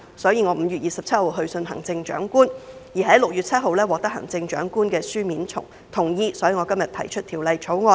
我於5月27日去信行政長官，並於6月7日獲得行政長官的書面同意，所以我今天提出《條例草案》。